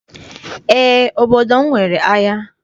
Eé, obodo m nwere ahịa.